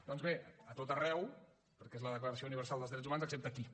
doncs bé a tot arreu perquè és la declaració universal dels drets humans excepte aquí